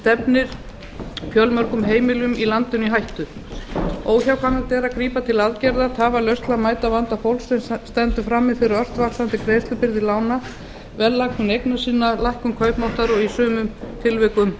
stefnir fjölmörgum heimilum í landinu í hættu óhjákvæmilegt er að grípa til aðgerða tafarlaust til að mæta vanda fólks sem stendur frammi fyrir ört vaxandi greiðslubyrði lána verðlækkun eigna sinna lækkun kaupmáttar og í sumum tilvikum